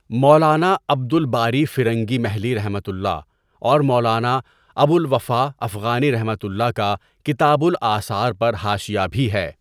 مولانا عبد الباری فرنگی محلیؒ اور مولانا ابوالوفاء افغانیؒ کا کتاب الآثار پر حاشیہ بھی ہے،.